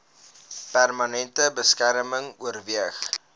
permanente beskerming oorweeg